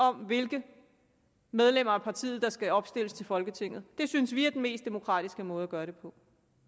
om hvilke medlemmer af partiet der skal opstilles folketinget det synes vi er den mest demokratiske måde at gøre